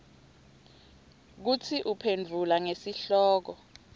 kutsi uphendvula ngesihloko